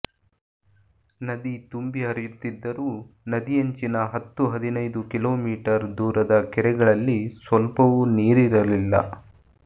ನದಿ ತುಂಬಿ ಹರಿಯುತ್ತಿದ್ದರೂ ನದಿಯಂಚಿನ ಹತ್ತು ಹದಿನೈದು ಕಿಲೋ ಮೀಟರ್ ದೂರದ ಕೆರೆಗಳಲ್ಲಿ ಸ್ವಲ್ಪವೂ ನೀರಿರಲಿಲ್ಲ